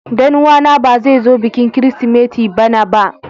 Danuwa na ba zai zo bikin kirisimeti bana ba.